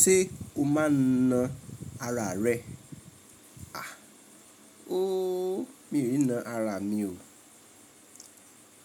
Ṣé o máa na ara rẹ? A, ooo, mi ò na ara mi o.